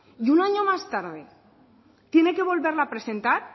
y un año más tarde tiene que volverlo a presentar